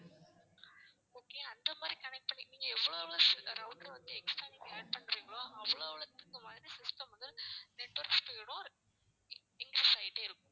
okay அந்த மாதிரி connect பண்ணி நீங்க எவ்வளவு router வந்து extra நீங்க add பண்றீங்களோ அவ்வளவு அவ்ளோத்துக்கு மாதிரி system வந்து network speed உம் inc~increase ஆகிட்டே இருக்கும்